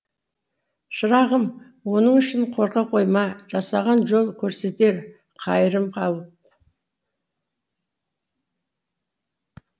шырағым оның үшін қорқа қойма жасаған жол көрсетер қайырымға алып